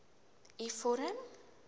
u vorm